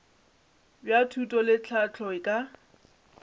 bja thuto le tlhahlo ka